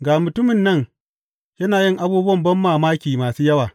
Ga mutumin nan yana yin abubuwan banmamaki masu yawa.